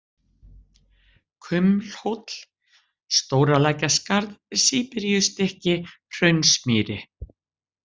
Kumlhóll, Stóralækjarskarð, Síberíustykki, Hraunsmýri